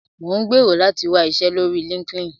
Mò ń gbèrò láti wá iṣẹ́ lórí LinkedIn